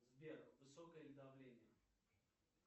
сбер высокое ли давление